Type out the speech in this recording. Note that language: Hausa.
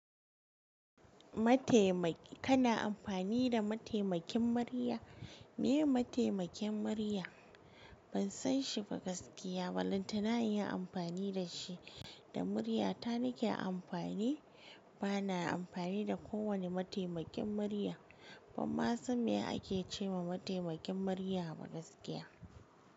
Matemaki ka na amfani da mataimakin murya? Me mataimakin murya? Ban san shi ba gaskiya walin tana yin amfani da shi, da murya ta nake amfani. Bana amfani da kowane mataimakin murya. Ban ma san me ake ce ma mataimakin murya ba gaskiya.